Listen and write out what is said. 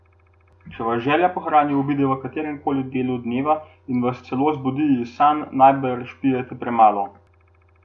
Če vas želja po hrani obide v katerem koli delu dneva in vas celo zbudi iz sanj, najbrž pijete premalo.